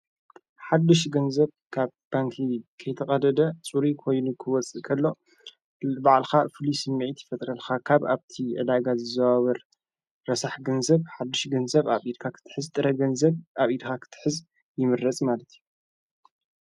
ሓድሽ ገንዘብ ካብ ባንኪ ከይተቐደደ ጽሪ ኮይኒ ክወፅእ ኸሎ በዕልኻ ፍሊስ ሚዕት ይፈጥረልካ ካብ ኣብቲ ዕላጋ ዝዘዋበር ረሳሕ ገንዘብ ሓድሽ ገንዘብ ኣብ ኢድካኽትሕዚ ጥረገንዘብ ኣብ ኢድካኽትሕዝ ይምረጽ ማለት እዩ።